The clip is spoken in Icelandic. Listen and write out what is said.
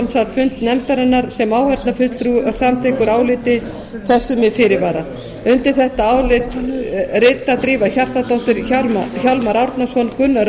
sat fund nefndarinnar sem áheyrnarfulltrúi og er samþykkur áliti þessu með fyrirvara undir þetta álit rita drífa hjartardóttir hjálmar árnason gunnar